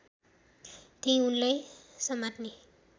त्यहि उनलाई समात्ने